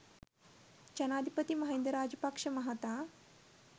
ජනාධිපති මහින්ද රාජපක්ෂ මහතා